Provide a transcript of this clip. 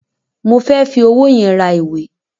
Mo fẹ́ fi owó yẹn ra ìwé.